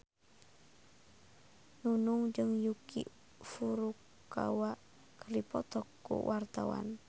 Nunung jeung Yuki Furukawa keur dipoto ku wartawan